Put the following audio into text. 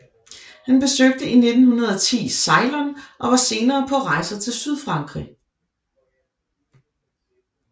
Han besøgte i 1910 Ceylon og var senere på rejser til Sydfrankrig